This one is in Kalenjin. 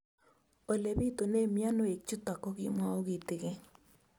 Ole pitune mionwek chutok ko kimwau kitig'�n